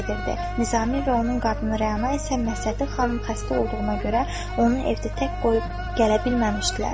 Nizami və onun qadını Rəna isə Məsdədi xanım xəstə olduğuna görə onu evdə tək qoyub gələ bilməmişdilər.